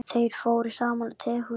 Þeir fóru saman á tehús.